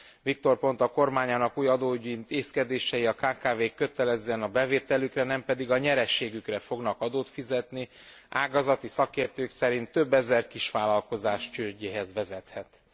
Victor Ponta kormányának új adóügyi intézkedései a kkv k kötelezően a bevételükre, nem pedig a nyereségükre fognak adót fizetni ágazati szakértők szerint több ezer kisvállalkozás csődjéhez vezethetnek.